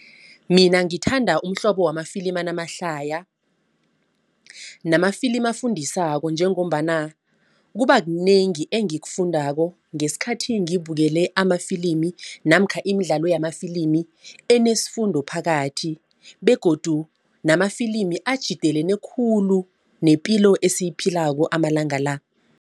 Mina ngithanda umhlobo wamafilimi anamahlaya. Namafilimi afundisako njengombana kuba kunengi engikufundako ngesikhathi ngibukele amafilimi namkha imidlalo yamafilimi enesifundo phakathi begodu namafilimi atjhidelene khulu nepilo esiyiphilako amalanga la.